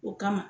O kama